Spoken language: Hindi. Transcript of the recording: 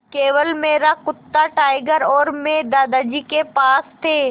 केवल मेरा कुत्ता टाइगर और मैं दादाजी के पास थे